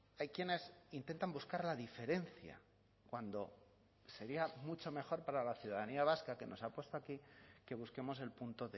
hay quienes intentan buscar la diferencia cuando sería mucho mejor para la ciudadanía vasca que nos ha puesto aquí que busquemos el punto